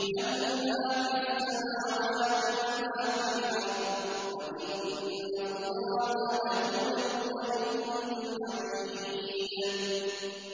لَّهُ مَا فِي السَّمَاوَاتِ وَمَا فِي الْأَرْضِ ۗ وَإِنَّ اللَّهَ لَهُوَ الْغَنِيُّ الْحَمِيدُ